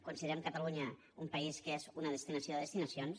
considerem catalunya un país que és una destinació de destinacions